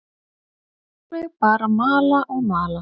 Lætur mig bara mala og mala.